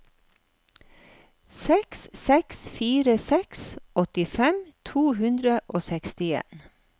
seks seks fire seks åttifem to hundre og sekstien